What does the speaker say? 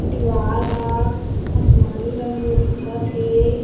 दिवाल ह आसमानी रंग म दिखत हे।